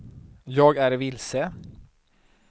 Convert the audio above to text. jag är vilse